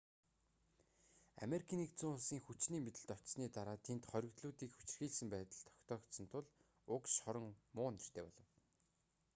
ану-ын хүчний мэдэлд очсоны дараа тэнд хоригдлуудыг хүчирхийлсэн байдал тогтоогдсон тул уг шорон муу нэртэй болов